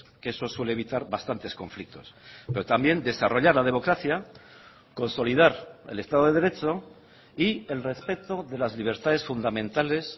que eso suele evitar bastantes conflictos pero también desarrollar la democracia consolidar el estado de derecho y el respeto de las libertades fundamentales